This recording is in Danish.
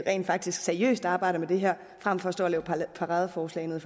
rent faktisk seriøst arbejder med det her frem for at stå og lave paradeforslag nede